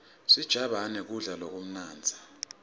sijabane kudla lokumnandzi